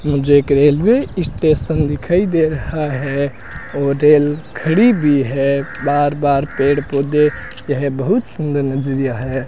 मुझे एक railway station दिखाई दे रहा है और रेल खड़ी भी है बार बार पेड़ पौधे यह बहुत सुंदर नजरिया है।